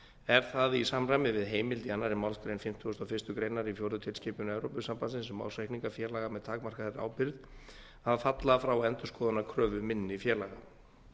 er það í samræmi við heimild í annarri málsgrein fimmtugustu og fyrstu grein í fjórðu tilskipun evrópusambandsins um ársreikninga félaga með takmarkaðri ábyrgð að falla frá endurskoðunarkröfu minni félaga